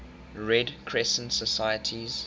red crescent societies